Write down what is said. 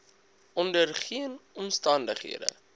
onder geen omstandighede